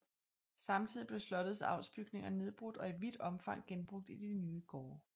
Samtidig blev slottets avlsbygninger nedbrudt og i vidt omfang genbrugt i de nye gårde